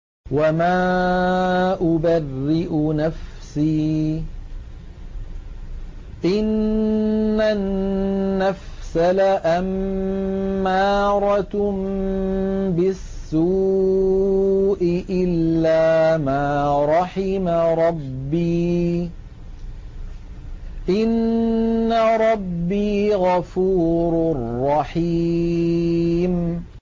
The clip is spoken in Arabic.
۞ وَمَا أُبَرِّئُ نَفْسِي ۚ إِنَّ النَّفْسَ لَأَمَّارَةٌ بِالسُّوءِ إِلَّا مَا رَحِمَ رَبِّي ۚ إِنَّ رَبِّي غَفُورٌ رَّحِيمٌ